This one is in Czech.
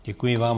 Děkuji vám.